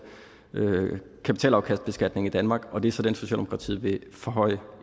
kapitalafkastbeskatning i danmark og det er så den som socialdemokratiet vil forhøje